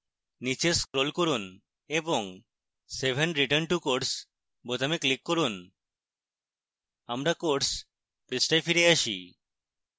নীচে scroll করুন এবং save and return to course বোতামে click করুন